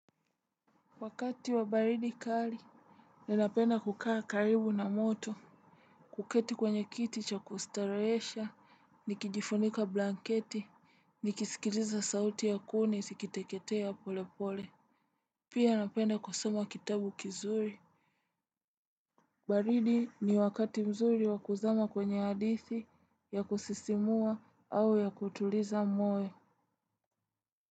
Wakati wa baridi kali ninapenda kukaa karibu na moto. Kuketi kwenye kiti cha kustarehesha nikijifunika blanketi nikisikiliza sauti ya kuni zikiteketea pole pole. Pia napenda kusoma kitabu kizuri. Baridi ni wakati mzuri wa kuzama kwenye hadithi ya kusisimua au ya kutuliza moyo.